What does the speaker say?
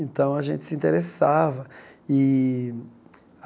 Então, a gente se interessava e.